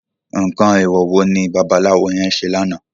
Nkán éwò wó ni bàbàláwó yèn sé làná?